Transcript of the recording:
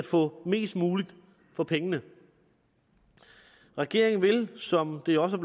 få mest muligt for pengene regeringen vil som det også